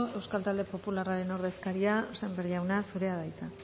euskal talde popularraren ordezkaria sémper jauna zurea da hitza